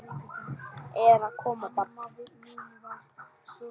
Er að koma barn?